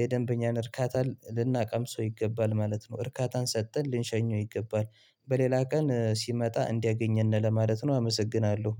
የደንበኛን እርካታ ልናቀምሰው ይገባል ማለት ነው እርካታን ሰጥተን ልንሸኘው ይገባል በሌላ ቀን ሲመጣ እንዲያገኘን ለማለት ነው። አመሰግናለሁ!